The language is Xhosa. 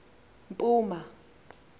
mpuma